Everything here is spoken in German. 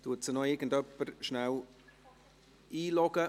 Loggt sie irgendjemand rasch in die Rednerliste ein?